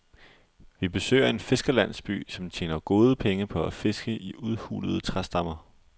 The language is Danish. Vi besøger en fiskerlandsby, som tjener gode penge på at fiske i udhulede træstammer.